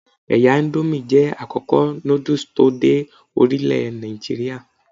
Ẹ̀ya íńdómì jẹ́ àkọ́kọ́ núdù tí ó dé orílẹ̀ Nàìjíríà.